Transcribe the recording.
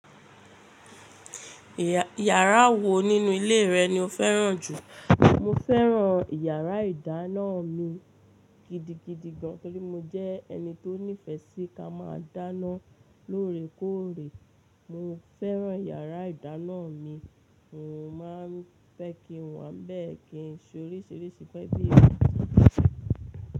Ìyàrá wò nínú ilé rẹ ni o fẹ́ràn jù? Mo fẹ́ràn ìyàrá ìdáná mi gidigidi gan. Nítorí mo jẹ́ ẹni tó nífẹẹ sí ká máa dáná lóore kóòrè. Mo fẹ́ràn ìyàrá ìdáná mi, mò ń máa ń fẹ́ kí n wà bẹ́ẹ̀ kí n ṣe orísìírísìí pẹ́bì rẹ̀.